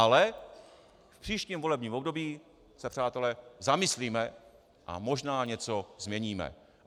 Ale - v příštím volebním období se, přátelé, zamyslíme a možná něco změníme...